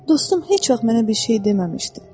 Dostum heç vaxt mənə bir şey deməmişdi.